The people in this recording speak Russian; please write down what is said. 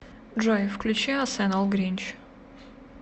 джой включи асэнэл гринч